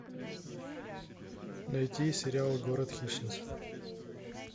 найти сериал город хищниц